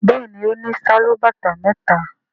Béèni ọ ní Sálúbàtà méta.